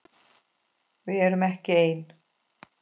Við erum ekki ein.